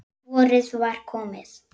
Vorið var komið.